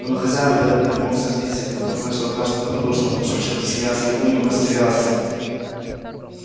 но на хозяина белый клык не мог сердиться и как тот начал однажды добродушно подшучивать и смеяться над ним он растерялся